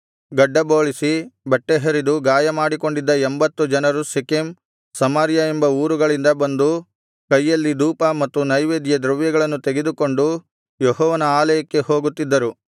ಗಡ್ಡಬೋಳಿಸಿ ಬಟ್ಟೆಹರಿದು ಗಾಯ ಮಾಡಿಕೊಂಡಿದ್ದ ಎಂಭತ್ತು ಜನರು ಶೆಕೆಮ್ ಶಿಲೋ ಸಮಾರ್ಯ ಎಂಬ ಊರುಗಳಿಂದ ಬಂದು ಕೈಯಲ್ಲಿ ಧೂಪ ಮತ್ತು ನೈವೇದ್ಯದ್ರವ್ಯಗಳನ್ನು ತೆಗೆದುಕೊಂಡು ಯೆಹೋವನ ಆಲಯಕ್ಕೆ ಹೋಗುತ್ತಿದ್ದರು